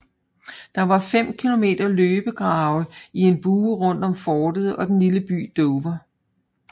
Der var 5 km løbegrave i en bue rundt om fortet og den lille by Dover